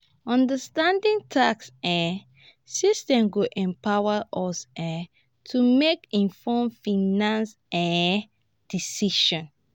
understanding tax um systems go empower us um to make informed financial um um decisions.